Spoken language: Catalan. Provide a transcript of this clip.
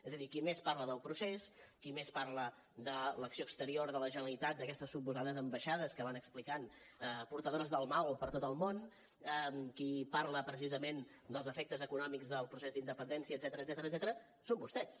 és a dir qui més parla del procés qui més parla de l’acció exterior de la generalitat d’aquestes suposades ambaixades que van explicant portadores del mal per tot el món qui parla precisament dels efectes econòmics del procés d’independència etcètera són vostès